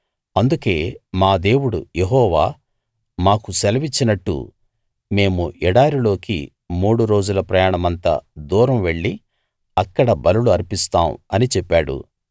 అందుకేమా దేవుడు యెహోవా మాకు సెలవిచ్చినట్టు మేము ఎడారిలోకి మూడు రోజుల ప్రయాణమంత దూరం వెళ్లి అక్కడ బలులు అర్పిస్తాం అని చెప్పాడు